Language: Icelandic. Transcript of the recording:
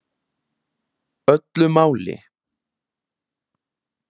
Öllu máli.